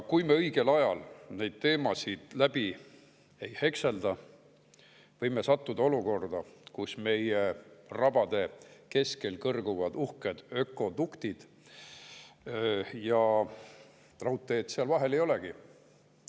Kui me õigel ajal neid teemasid läbi ei hekselda, võime sattuda olukorda, kus meie rabade keskel kõrguvad uhked ökoduktid, aga raudteed seal vahel ei olegi.